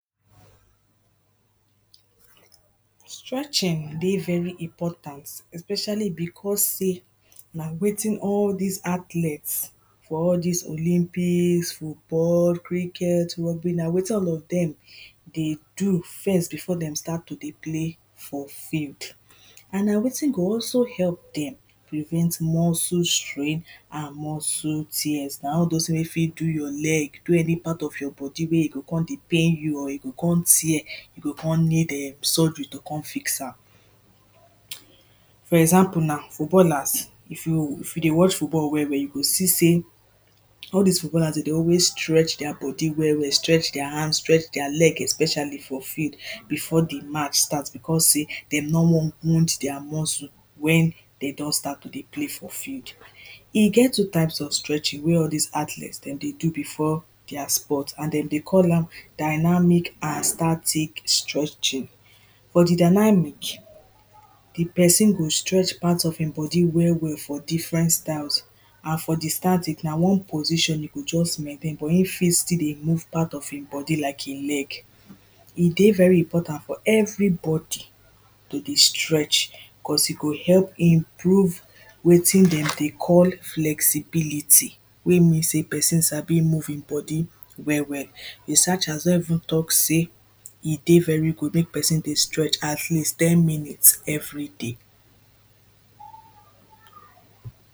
stretching dey very important especially because say na wetin all this athlete for all this olympics, football, cricket, rugby, na wetin all of dem dey do first before dey start to play for field and na wetin go also help dem prevent muscle strain and muscle tears all those tins wey fit do your leg do any part of your body wey go come dey pain you or e go come tear an e go come need surgery to come fix am for example now, footballers, if you if you dey watch football well well, you go see say all this footbollers, dem dey always stretch their body well well, stretch their hand, stretch their leg, especially for field before the match start, because say dem no wan wound their muscle wen dem don start to play for field e get two types of stretching wey all dis athletes Dem dey do before their sport, and dem dey call am dynamic and static stretching for the dynamic the person go stretch part of him body well well for diffrent styles and for the static na one position you go just maintain, but you fit still dey move part of e body like your leg e dey very important for everybody to dey stretch cause e go help improve wetin dem dey call flexibility wey mean sey person sabi move him body well well researchers don even talk say e dey very good make person dey stetch at least ten minutes everyday.